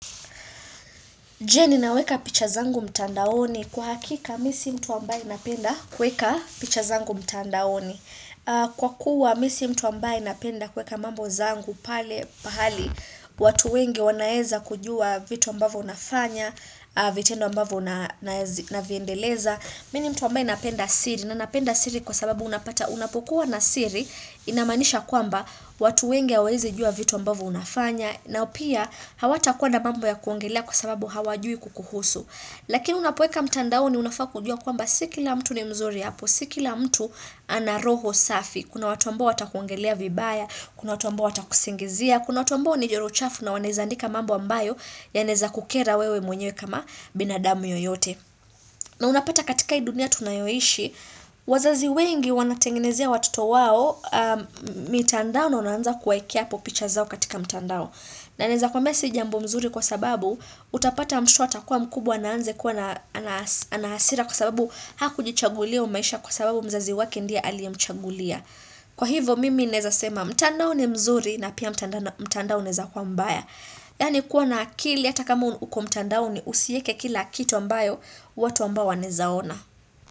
Jeni ninaweka picha zangu mtandaoni kwa hakika mi si mtu ambaye napenda kuweka picha zangu mtandaoni Kwa kuwa mi si mtu ambaye napenda kuweka mambo zangu pale pahali watu wengi wanaeza kujua vitu ambavyo unafanya, vitendo ambavvyo unaviendeleza Mi ni mtu ambaye napenda siri na napenda siri kwa sababu unapata unapokuwa na siri Inamanisha kwamba watu wengi wanaeza jua vitu ambavyo unafanya na pia hawata kuwa na mambo ya kuongelea kwa sababu hawajui kukuhusu. Lakini unapoweka mtandaoni unafaa kujua kwamba sikila mtu ni mzuri hapo, sikila mtu ana roho safi. Kuna watu ambao watakuongelea vibaya, kuna watu ambao watakusingizia, kuna watu ambao ni joro chafu na waneza andika mambo ambayo ya neza kukera wewe mwenye kama binadamu yoyote. Na unapata katika hii dunia tunayoishi, wazazi wengi wanatengenezia watoto wao mitandao na unaanza kuwaekea po picha zao katika mtandao. Na naweza kwambia si jambo mzuri kwa sababu utapata mtoto atakuwa mkubwa naanze kuwa anahasira kwa sababu haku jichagulia hyo maisha kwa sababu mzazi wake ndiye aliamchagulia. Kwa hivo mimi neza sema mtandao ni mzuri na pia mtandao unaweza kuwa mbaya. Yani kuwa na akili hata kama uko mtandaoni usieke kila kitu mbayo watu ambao wanezaona.